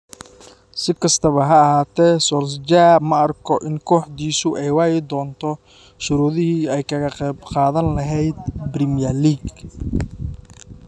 Si kastaba ha ahaatee, Solskjaer ma arko in kooxdiisu ay waayi doonto shuruudihii ay kaga qayb qaadan lahayd Premier League.